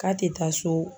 K'a tɛ taa so